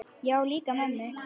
Já, líka mömmu